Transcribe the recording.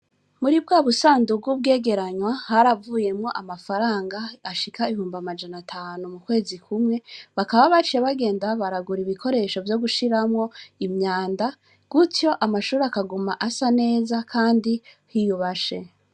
Muri bwa busanduka ubwegeranywa hari avuyemwo amafaranga ashika ihumba amajana atanu mu kwezi kumwe bakaba bace bagenda baragura ibikoresho vyo gushiramwo imyanda gutyo amashuri akaguma asa neza, kandi hiyubashe.